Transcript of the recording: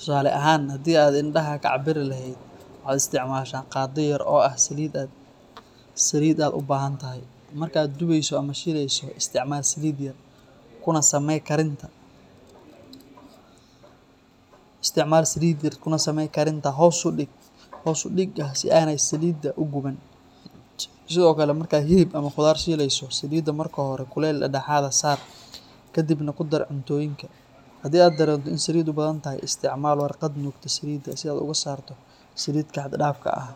Si aad si sax ah u cabirto saliidda, waxaad adeegsan kartaa qaadooyinka karinta. Tusaale ahaan, halkii aad indhaha ka cabiri lahayd, waxaad isticmaashaa qaaddo yar oo ah saliidda aad u baahan tahay. Marka aad dubayso ama shiilayso, isticmaal saliid yar, kuna samee karinta hoos u dhig ah si aanay saliiddu u guban. Sidoo kale, markaad hilib ama khudaar shiileyso, saliidda marka hore kuleyl dhexdhexaad ah saar, kadibna ku dar cuntooyinka. Haddii aad dareento in saliiddu badan tahay, isticmaal warqad nuugta saliidda si aad uga saarto saliidda xad-dhaafka ah.